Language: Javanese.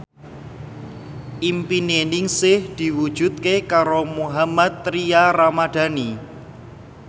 impine Ningsih diwujudke karo Mohammad Tria Ramadhani